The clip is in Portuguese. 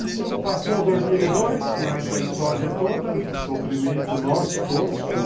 Isso passou em dois mil e dois, com essa história toda, o sofrimento nosso, todos.